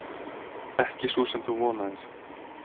Ekki sú sem þú vonaðir.